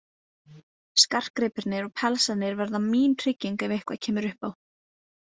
Skartgripirnir og pelsarnir verða mín trygging ef eitthvað kemur upp á.